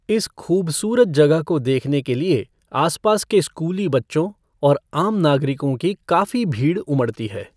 इस खूबसूरत जगह को देखने के लिए आसपास के स्कूली बच्चों और आम नागरिकों की काफी भीड़ उमड़ती है।